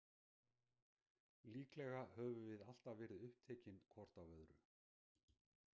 Líklega höfum við alltaf verið upptekin hvort af öðru.